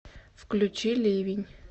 включи ливень